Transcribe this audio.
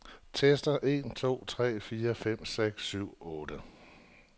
Tester en to tre fire fem seks syv otte.